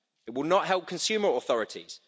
It will not help consumer authorities.